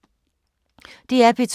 DR P2